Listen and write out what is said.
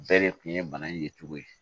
Bɛɛ de kun ye bana in ye cogo di